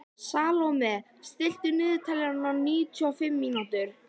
Salome, stilltu niðurteljara á níutíu og fimm mínútur.